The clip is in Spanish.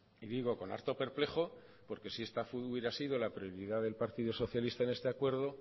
y digo con harto perplejo porque si esta hubiera sido la prioridad del partido socialista en este acuerdo